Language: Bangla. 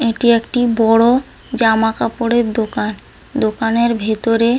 এটি একটি বড় জামা কাপড়ের দোকান। দোকানের ভিতরে--